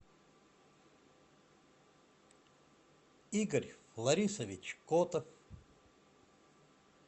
игорь фларисович котов